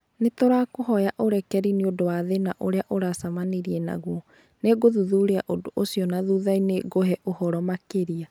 Nĩ tũrakũhoya ũrekeri nĩ ũndũ wa thĩna ũrĩa ũracemania naguo. Nĩ ngũthuthuria ũndũ ũcio na thutha-inĩ ngũhe ũhoro makĩria.